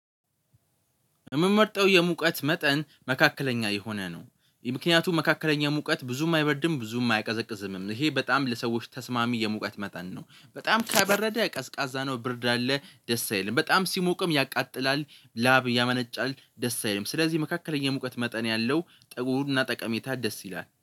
የምመርጠው የሙቀት መጠን መካከለኛ የሆነ ነው። ይሄ ምክንያቱም መካከለኛ ሙቀት ብዙም አይበርድም ብዙም አያቀዘቅዝም ይሄ በጣም ለሰዎች ተስማሚ የሙቀት መጠን ነው። በጣም ከበረደ ቀዝቃዛ ነው ብርድ አለ ደስ አይልም። በጣም ሲሞቅም ያቃጥላል ላብ ያመነጫል ደስ አይልም። ስለዚህ መካከለኛ የሙቀት መጠን ያለው ጥሩና ጠቀሜታ ደስ ይላል